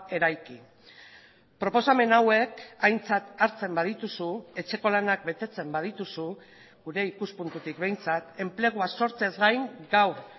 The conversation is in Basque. eraiki proposamen hauek aintzat hartzen badituzu etxeko lanak betetzen badituzu gure ikuspuntutik behintzat enplegua sortzeaz gain gaur